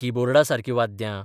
की बोर्डासारकी वाद्यां.